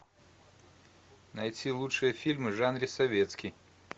найти лучшие фильмы в жанре советский